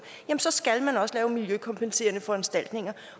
skal man også lave miljøkompenserende foranstaltninger